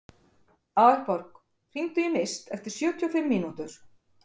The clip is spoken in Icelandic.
Aðalborg, hringdu í Mist eftir sjötíu og fimm mínútur.